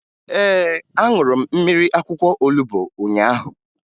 Ee, aṅụrụ m mmiri akwụkwọ olubo ahụ